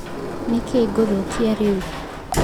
Nĩ kĩĩ ngũthũkia rĩu.